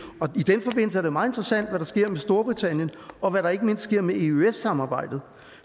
os at det meget interessant hvad der sker med storbritannien og hvad der ikke mindst sker med eøs samarbejdet